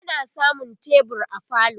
ana samun tebur a falo